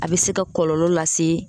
A bɛ se ka kɔlɔlɔ lase.